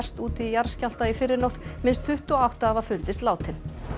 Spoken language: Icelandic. úti í jarðskjálfta í fyrrinótt minnst tuttugu og átta hafa fundist látin